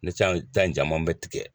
Ne can ta in caman bɛ tigɛ.